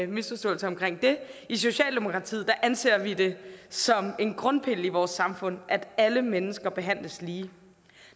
misforståelser omkring det i socialdemokratiet anser vi det som en grundpille i vores samfund at alle mennesker behandles lige